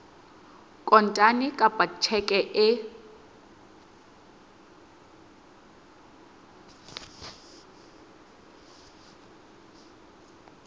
kontane kapa ka tjheke e